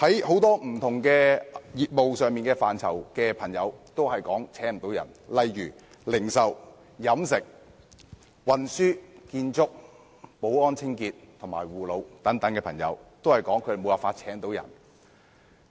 很多不同業務範疇的朋友均無法招聘員工，例如零售、飲食、運輸、建築、保安、清潔及護老等行業也表示無法招聘員工。